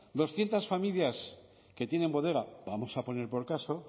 doscientos familias que tienen bodega vamos a poner por caso